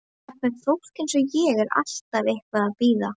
Jafnvel fólk eins og ég er alltaf eitthvað að bíða.